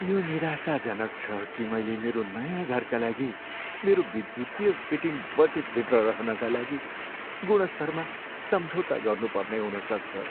यो निराशाजनक छ कि मैले मेरो नयाँ घरका लागि मेरो विद्युतीय फिटिङ बजेटभित्र रहनका लागि गुणस्तरमा सम्झौता गर्नुपर्ने हुन सक्छ।